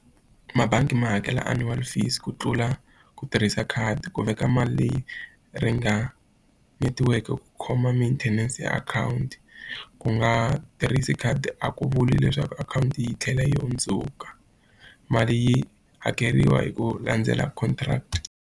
Mabangi ma hakela annual fees ku tlula ku tirhisa khadi ku veka mali leyi ri nga netiweke ku khoma maintenance ya akhawunti. Ku nga tirhisi khadi a ku vuli leswaku akhawunti yi tlhela yi hundzuka. Mali yi hakeriwa hi ku landzela contract.